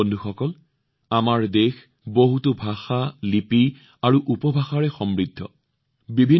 বন্ধুসকল আমাৰ দেশত বহুতো ভাষা লিপি আৰু উপভাষাৰ এক সমৃদ্ধ ভাণ্ডাৰ আছে